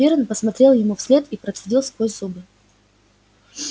пиренн посмотрел ему вслед и процедил сквозь зубы